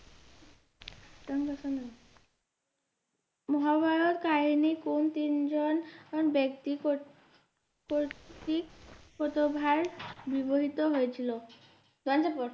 মহাভারত কাহিনীর কোন তিনজন ব্যক্তি ব্যাবহৃত হয়েছিল